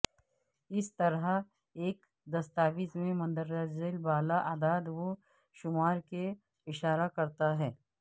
اس طرح ایک دستاویز میں مندرجہ بالا اعداد و شمار کے اشارہ کرتا ہے